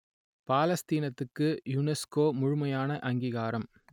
பாலஸ்தீனத்துக்கு UNESCO முழுமையான அங்கீகாரம்